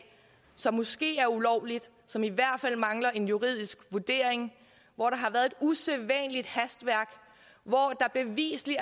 som måske er ulovligt som i hvert fald mangler en juridisk vurdering hvor der har været et usædvanligt hastværk hvor der bevisligt